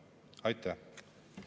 Aitäh!